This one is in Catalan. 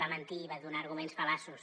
va mentir i va donar arguments fal·laços